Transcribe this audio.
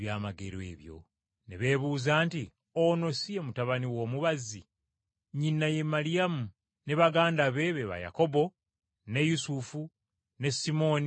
Ne beebuuza nti, “Ono si ye mutabani w’omubazzi? Nnyina ye Maliyamu ne baganda be ba Yakobo, ne Yusufu, ne Simooni ne Yuda.